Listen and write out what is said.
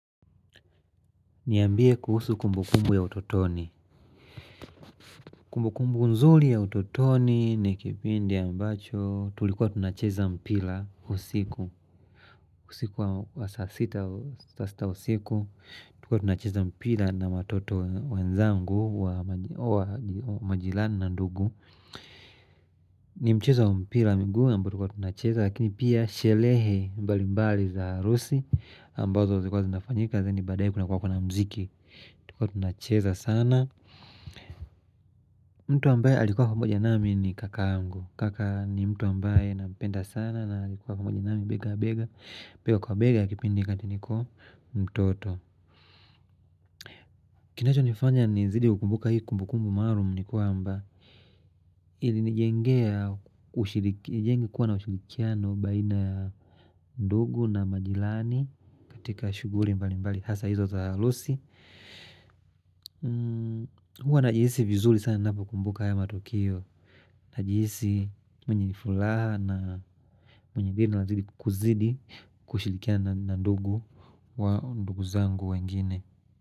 Niambie kuhusu kumbukumbu ya utotoni Kumbukumbu nzuli ya utotoni ni kipindi ambacho tulikuwa tunacheza mpira usiku usiku wa saa sita usiku tulikuwa tunacheza mpira na watoto wenzangu wa majirani na ndugu ni mchezo wa mpira wa miguu ambayo tulikuwa tunacheza lakini pia sherehe mbalimbali za harusi ambazo zilikuwa zinafanyika lakini badae kunakuwa kuna mziki Tulikuwa tunacheza sana mtu ambae alikuwa pamoja nami ni kaka yangu Kaka ni mtu ambaye nampenda sana naalikuwa pamoja nami bega kwa bega Bega kwa bega ya kipindi wakati niko mtoto Kinacho nifanya nizidi kukumbuka hii kumbukumbu maalumu nikwamba ili nijengea ushiriki na kuwa na ushirikiano baina ndugu na majirani katika shughuli mbali mbali Hasa hizo za harusi Huwa najihisi vizuri sana ninapo kumbuka haya matukio Najihisi mwenye furaha na mwenye raha kuzidi kushirikia na ndugu zangu wengine.